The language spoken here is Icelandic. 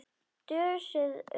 Dösuð undir sæng.